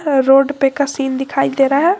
Road पे का scene दिखाई दे रहा है।